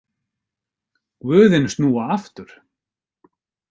Guðin snúa aftur.